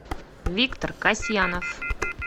виктор касьянов